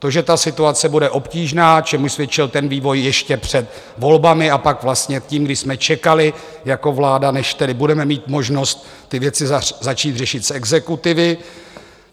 To, že ta situace bude obtížná, čemuž svědčil ten vývoj ještě před volbami, a pak vlastně tím, když jsme čekali jako vláda, než tedy budeme mít možnost ty věci začít řešit z exekutivy.